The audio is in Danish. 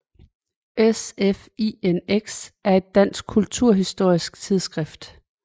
SFINX er et dansk kulturhistorisk tidsskrift